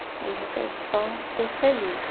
Hoje eu quero só ser feliz.